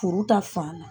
Furu ta fan na